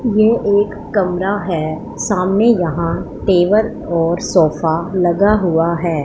ये एक कमरा है सामने यहां टेबल और सोफा लगा हुआ है।